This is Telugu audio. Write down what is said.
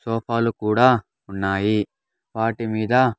సోఫాలు కూడా ఉన్నాయి వాటి మీద--